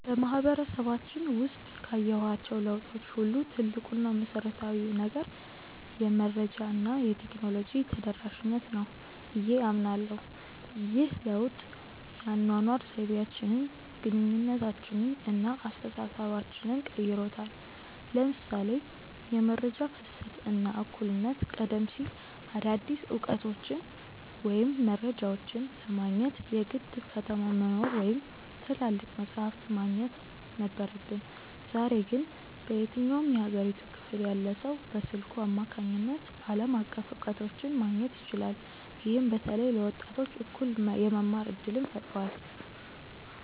በማህበረሰባችን ውስጥ ካየኋቸው ለውጦች ሁሉ ትልቁ እና መሰረታዊው ነገር "የመረጃ እና የቴክኖሎጂ ተደራሽነት" ነው ብዬ አምናለሁ። ይህ ለውጥ የአኗኗር ዘይቤያችንን፣ ግንኙነታችንን እና አስተሳሰባችንን ቀይሮታል ለምሳሌ የመረጃ ፍሰት እና እኩልነት ቀደም ሲል አዳዲስ እውቀቶችን ወይም መረጃዎችን ለማግኘት የግድ ከተማ መኖር ወይም ትላልቅ መጻሕፍት ማግኘት ነበረብን። ዛሬ ግን በየትኛውም የሀገሪቱ ክፍል ያለ ሰው በስልኩ አማካኝነት ዓለም አቀፍ እውቀቶችን ማግኘት ይችላል። ይህም በተለይ ለወጣቶች እኩል የመማር እድልን ፈጥሯል።